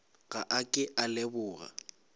ga a ke a leboga